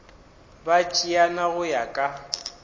ba tšeana go ya ka